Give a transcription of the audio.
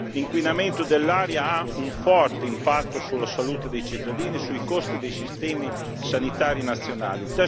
L'inquinamento dell'aria ha un forte impatto sulla salute dei cittadini e sui costi dei sistemi sanitari nazionali.